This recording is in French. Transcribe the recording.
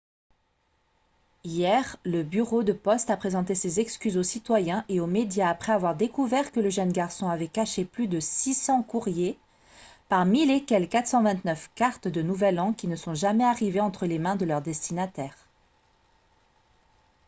hier le bureau de poste a présenté ses excuses aux citoyens et aux médias après avoir découvert que le jeune garçon avait caché plus de 600 courriers parmi lesquels 429 cartes de nouvel an qui ne sont jamais arrivées entre les mains de leur destinataire